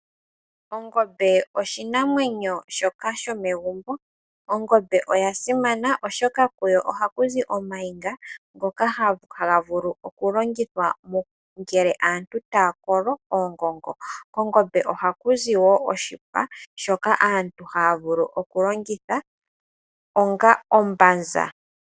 Ongombe oshinamwenyo shoka shomegumbo, ongombe oyasimana oshoka kuyo oha kuzi omayinga ngoka haga vulu okulongitha ngele aantu taya kolo oongongo , kongombe oha kuzi wo oshipa shoka aantu haya vulu okulanditha onga ombanza.